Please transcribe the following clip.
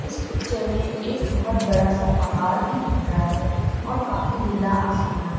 इस पिक्चर में एक बहोत बड़ा सा पहाड़ भी दिख रहा है और काफी नीला आसमान--